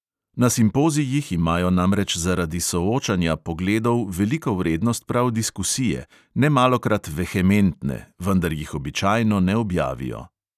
Na simpozijih imajo namreč zaradi soočanja pogledov veliko vrednost prav diskusije, nemalokrat vehementne, vendar jih običajno ne objavijo.